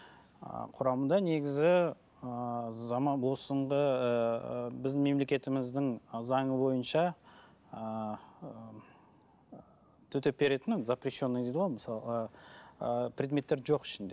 ы құрамында негізі ыыы заман біздің мемлекетіміздің заңы бойынша ыыы төтеп беретін запрещенный дейді ғой мысалға предметтер жоқ ішінде